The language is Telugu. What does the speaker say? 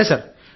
సరే సార్